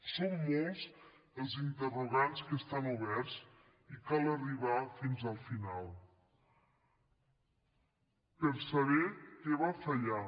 són molts els interrogants que estan oberts i cal arribar fins al final per saber què va fallar